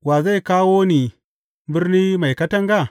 Wa zai kawo ni birni mai katanga?